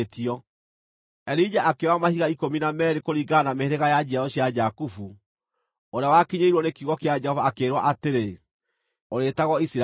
Elija akĩoya mahiga ikũmi na meerĩ kũringana na mĩhĩrĩga ya njiarwa cia Jakubu, ũrĩa wakinyĩirwo nĩ kiugo kĩa Jehova akĩĩrwo atĩrĩ, “Ũrĩĩtagwo Isiraeli.”